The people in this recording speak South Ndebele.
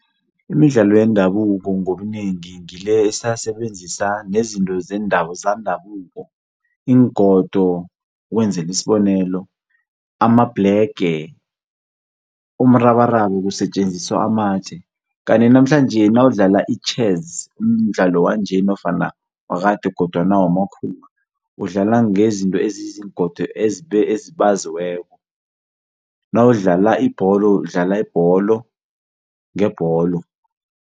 Imidlalo yendabuko ngobunengi ngile esasebenzisa nezinto zandabuko, iingodo ukwenzela isibonelo, amabhlege, umrabaraba kusetjenziswa amatje. Kanti namhlanje nawudlala itjhezi umdlalo wanje nofana wakade kodwana wamakhuwa, udlala ngezinto eziziingodo ezibaziweko, nawudlala ibholo udlala ibholo ngebholo.